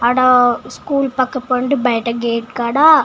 ఆడ స్కూల్ పక్క పోటి బయట గేటు కాడ --